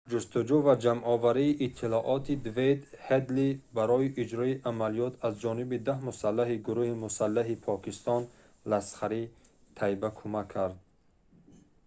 ҷустуҷӯ ва ҷамъоварии иттилооти дэвид ҳедли барои иҷрои амалиёт аз ҷониби 10 мусаллаҳи гурӯҳи мусаллаҳи покистон ласхари тайба кумак кард